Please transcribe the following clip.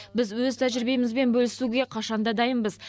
біз өз тәжірибемізбен бөлісуге қашанда дайынбыз